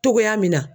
Togoya min na